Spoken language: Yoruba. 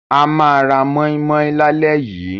A máa ra mọ́í-mọ́í lálẹ́ yìí.